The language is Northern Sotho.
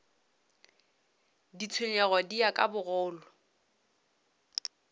ditshenyegelo di ya ka bogolo